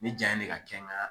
Ni ja in de ka kɛ n kan